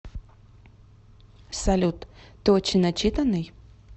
салют ты очень начитанный